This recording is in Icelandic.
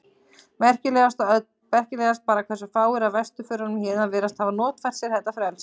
Merkilegast bara hversu fáir af vesturförunum héðan virðast hafa notfært sér þetta frelsi.